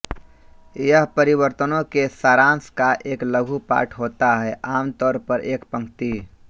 यह परिवर्तनों के सारांश का एक लघु पाठ होता है आमतौर पर एक पंक्ति